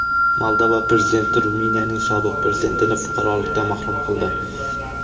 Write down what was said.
Moldova prezidenti Ruminiyaning sobiq prezidentini fuqarolikdan mahrum qildi.